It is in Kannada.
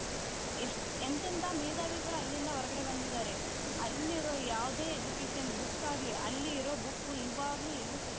ಎಷ್ಟ್ ಎಂತೆಂಥ ಮೇಧಾವಿಗಳು ಅಲ್ಲಿಂದ ಹೊರಗಡೆ ಬಂದಿದ್ದಾರೆ.ಅಲ್ಲಿರೋ ಯಾವುದೇ education book ಆಗಲಿ ಅಲ್ಲಿ ಇರೋ book ಇವಾಗ ಎಲ್ಲೂ ಸಿಗ್ತಾ ಇಲ್ಲಾ